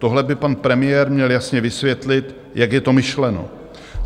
Tohle by pan premiér měl jasně vysvětlit, jak je to myšleno.